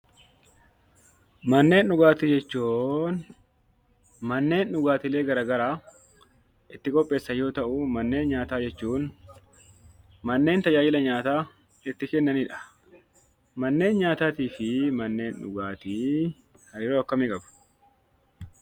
Manneen dhugaatii jechuun manneen dhugaatilee gara garaa itti qopheessan yoo ta'u, manneen nyaataa jechuun manneen tajaajila nyaataa itti kennanidha. Manneen nyaataatii fi manneen dhugaatii hariiroo akkamii qabu?